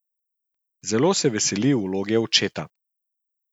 Zelo se veseli vloge očeta.